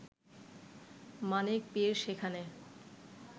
মানিক পীর সেখানে